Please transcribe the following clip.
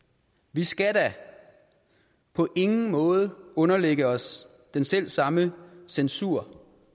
vi skal da på ingen måde underlægge os den selv samme censur